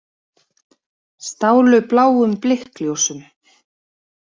Stálu bláum blikkljósum